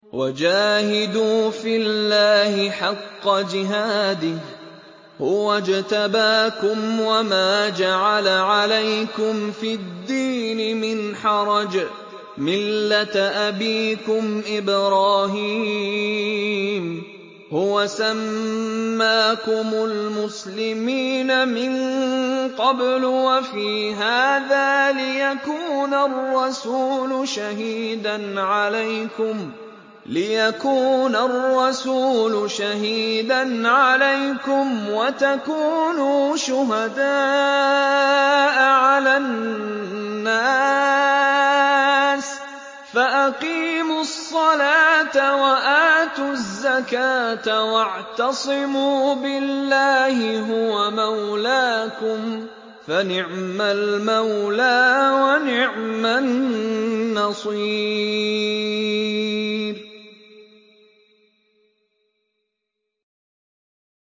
وَجَاهِدُوا فِي اللَّهِ حَقَّ جِهَادِهِ ۚ هُوَ اجْتَبَاكُمْ وَمَا جَعَلَ عَلَيْكُمْ فِي الدِّينِ مِنْ حَرَجٍ ۚ مِّلَّةَ أَبِيكُمْ إِبْرَاهِيمَ ۚ هُوَ سَمَّاكُمُ الْمُسْلِمِينَ مِن قَبْلُ وَفِي هَٰذَا لِيَكُونَ الرَّسُولُ شَهِيدًا عَلَيْكُمْ وَتَكُونُوا شُهَدَاءَ عَلَى النَّاسِ ۚ فَأَقِيمُوا الصَّلَاةَ وَآتُوا الزَّكَاةَ وَاعْتَصِمُوا بِاللَّهِ هُوَ مَوْلَاكُمْ ۖ فَنِعْمَ الْمَوْلَىٰ وَنِعْمَ النَّصِيرُ